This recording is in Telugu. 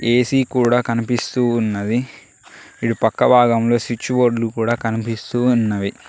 ఏ_సి కూడా కనిపిస్తూ ఉన్నది. ఇటు పక్క భాగంలో స్విచ్చు బోర్డలు కూడా కనిపిస్తూ ఉన్నవి.